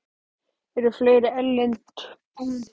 Eru fleiri erlend lið búin að spyrjast fyrir um þig?